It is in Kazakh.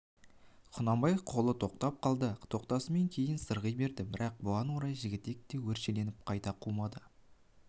құнанбай қолы тоқтап қалды тоқтасымен кейін сырғи берді бірақ бұған орай жігітек те өршеленіп қайта қумады